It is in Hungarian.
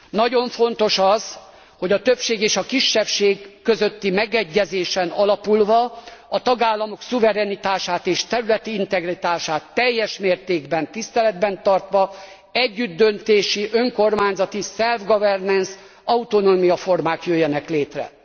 Nagyon fontos az, hogy a többség és a kisebbség közötti megegyezésen alapulva a tagállamok szuverenitását és területi integritását teljes mértékben tiszteletben tartva, együttdöntési, önkormányzati, self governance autonómiaformák jöjjenek létre.